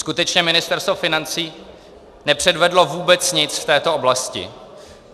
Skutečně Ministerstvo financí nepředvedlo vůbec nic z této oblasti.